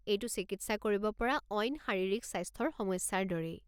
এইটো চিকিৎসা কৰিব পৰা অইন শাৰীৰিক স্বাস্থ্যৰ সমস্যাৰ দৰেই।